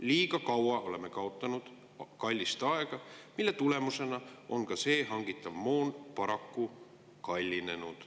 Liiga palju oleme kaotanud kallist aega, mille tulemusena on see hangitav moon paraku kallinenud.